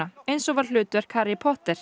eins og var hlutverk Harry Potter